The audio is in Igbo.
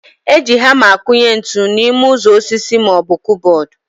Eji hama akụnye ntụ n'ime ụzọ osisi maọbụ kụbọd